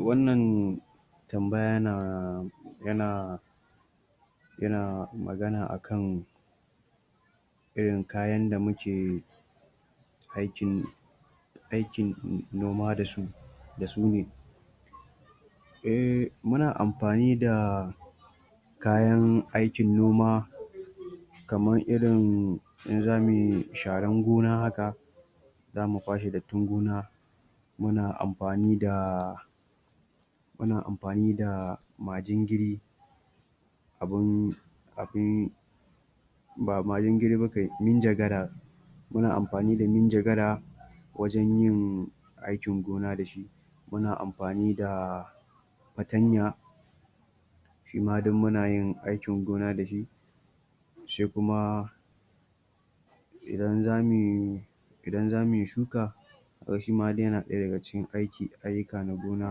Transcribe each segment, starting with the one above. Wannan tambaya... yana Yana magana akan Irin kayan da muke Aiki Aikin noma da su. Da su ne. Eh muna amfani da Kayan aikin noma Kaman irin in zamuyi sharan gona haka Zamu kwashe dattin gona Muna amfani da... Muna amfani da majingiri Abun...abun Ba majingiri ba kai, ninjagara Muna amfani da ninjagara Wajen yin aikin gona da shi Muna amfani da Fatanya Shi ma duk muna yin aikin gona da shi Sai kuma Idan zamuyi...Idan zamuyi shuka Toh Shima duk yana ɗaya daga cikin ayuka na gona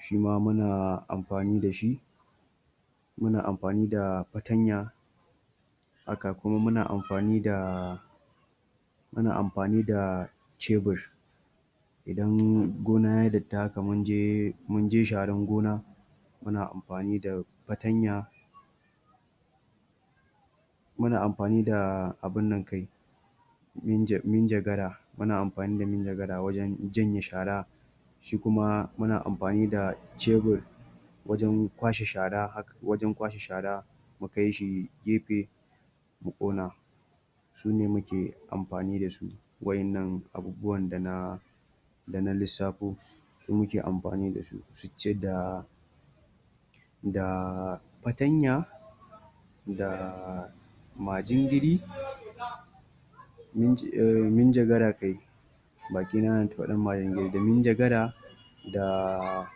Shima muna amfani da shi Muna amfani da fatanya Haka kuma muna amfani da Muna amfani da chebir Idan gona ya yi datti haka mun je... mun je sharan gona Muna amfani da fatanya Muna amfani abun nan kai... Ninjagara... muna amfani da ninjagara wajen janye shara Shi kuma muna amfani da chebir Wajen kwashe shara haka...wajen kwashe shara mu kai shi gefe Mu ƙona Shine muke amfani da shi, waɗannan abubuwan da na... Da na lissafo. Shi muke amfani da shi, sicce da... Da fatanya Da majingiri Ahh... minjagara kai Baki na yana ta faɗan majingiri, da minjagara Da.....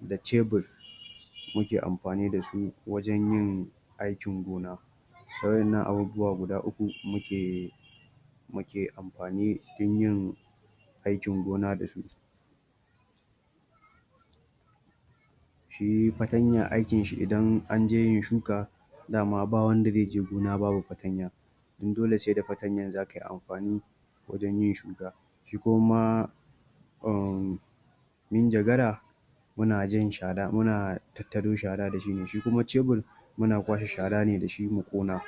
Da chebir Muke amfani da su wajen yin aikin gona waɗannan abubuwa guda uku muke Muke amfani cikin yin aikin gona Shi fantanya aikinshi idan an je yin shuka, daman ba wanda zai je gona babu fatanya Dan dole sai da fatanyar zaka yi amfani Wajen yin shuka. Shi kuma ma... umm... Minjagara Muna jan shara...muna tattaro shara da shi ne. Shi kuma chebir muna kwashe shara ne da shi mu ƙona.